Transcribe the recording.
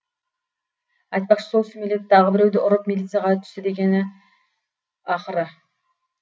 айтпақшы сол сүмелек тағы біреуді ұрып милицияға түсті дегені ақыры